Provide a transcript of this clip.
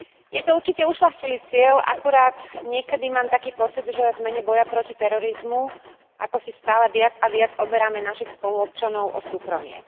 Je to určite ušľachtilý cieľ, akurát niekedy mám taký pocit, že v mene boja proti terorizmu akosi stále viac a viac oberáme našich spoluobčanov o súkromie.